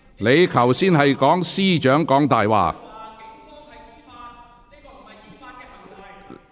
你剛才指控司長"講大話"。